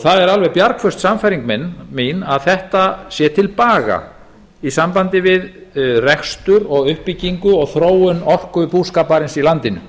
það er alveg bjargföst sannfæring mín að þetta sé til baga í sambandi við rekstur og uppbyggingu og þróun orkubúskaparins í landinu